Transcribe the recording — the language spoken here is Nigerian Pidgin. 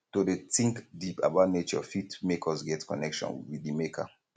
to de think deep about nature fit make us get connection with di maker